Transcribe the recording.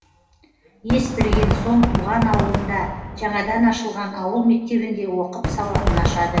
ес білген соң туған ауылында жаңадан ашылған ауыл мектебінде оқып сауатын ашады